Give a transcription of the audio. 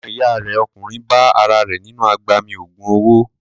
Ọmọ ìyá rẹ̀ ọkùnrin bá ara rẹ̀ nínú agbami ògùn owó.